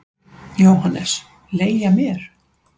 JÓHANNES: Leigja mér?